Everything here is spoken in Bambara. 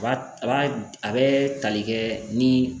Ba a ba a bɛ tali kɛ ni